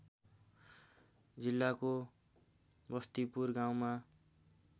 जिल्लाको बस्तीपुर गाउँमा